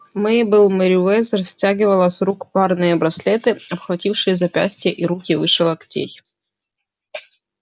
мейбелл мерриуэзер стягивала с рук парные браслеты обхватившие запястья и руки выше локтей